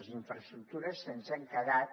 les infraestructures ens han quedat